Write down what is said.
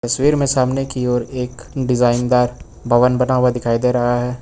तस्वीर में सामने की ओर एक डिजाइन दार भवन बना हुआ दिखाई दे रहा है।